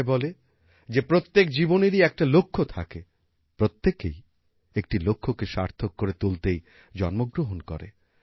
কথায় বলে যে প্রত্যেক জীবনেরই একটা লক্ষ্য থাকে প্রত্যেকেই একটি লক্ষ্যকে সার্থক করে তুলতেই জন্মগ্রহণ করে